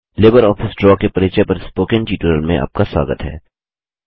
LibreOffice Draw के परिचय पर स्पोकन ट्यूटोरियल में आपका स्वागत है